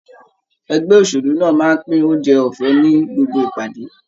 Ẹgbẹ́ òṣèlú náà máa ń pín oúnjẹ ọ̀fẹ́ ni gbogbo ìpàdé.